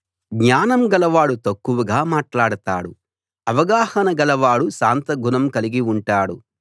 జ్ఞానం గలవాడు తక్కువగా మాట్లాడతాడు అవగాహన గలవాడు శాంత గుణం కలిగి ఉంటాడు